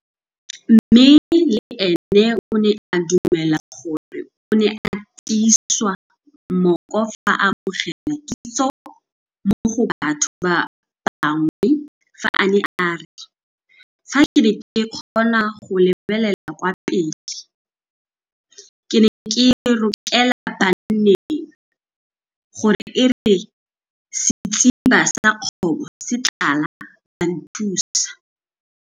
Mme le ene o ne a dumela gore o ne a tiiswa mooko fa a amogela kitso mo go batho ba bangwe fa a ne a re, fa ke ne ke kgona go lebelela kwa pele ke ne ke rokela banneng, gore e re setsiba sa kobo se tlala, ba nthusa.